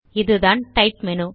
இதுதான் type menu